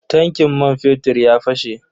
Tankin man fetir ya fashe.